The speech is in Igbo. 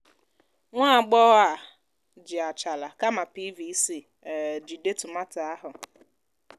nwá agbọghọ a ji àchàlà kámà piiviicii um jìde tòmátò áhù